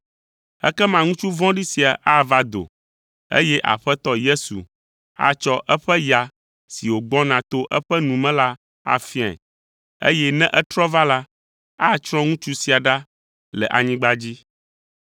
Ekema ŋutsu vɔ̃ɖi sia ava do, eye Aƒetɔ Yesu atsɔ eƒe ya si wògbɔna to eƒe nu me la afiae, eye ne etrɔ va la, atsrɔ̃ ŋutsu sia ɖa le anyigba dzi.